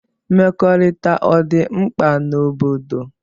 Mmekọrita ọdi mkpa n'obodo.